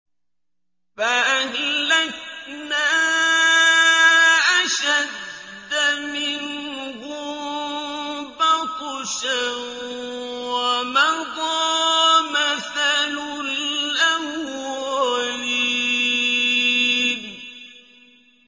فَأَهْلَكْنَا أَشَدَّ مِنْهُم بَطْشًا وَمَضَىٰ مَثَلُ الْأَوَّلِينَ